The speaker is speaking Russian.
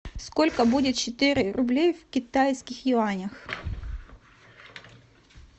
сколько будет четыре рублей в китайских юанях